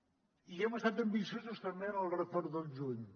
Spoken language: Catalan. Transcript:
i hem estat ambiciosos també en el retorn del juny